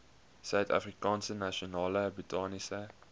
suidafrikaanse nasionale botaniese